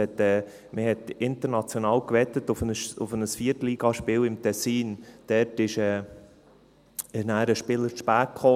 Man hatte im Tessin international auf ein 4.-Liga-Spiel gewettet, bei dem dann ein Spieler zu spät kam.